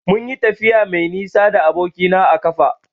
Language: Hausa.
Munyi tafiya mai nisa da aboki na a ƙafa.